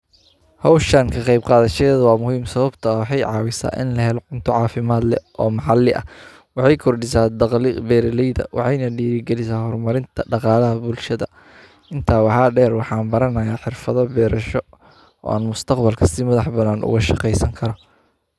Hawshan ka qayb qaada sheeda waa muhiim sababta oo xay caawisa in la helo cunto caafimaad leh oo maxalli ah. Waxay kordhi saad daqiiq beerileyda, waxayna dhiirigali saar marinta dhaqaale bulshada intaa waxa dhayr waxaan baranaya xirfado beerasho oo aan mustaqbal kastiba dhex bannaan uga shaqaysan kara.